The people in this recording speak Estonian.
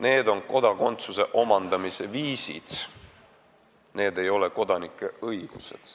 Need on kodakondsuse omandamise viisid, need ei ole kodanike õigused.